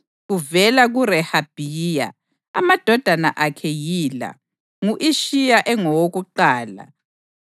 Kuvela kuRehabhiya, amadodana akhe yila: ngu-Ishiya engowokuqala.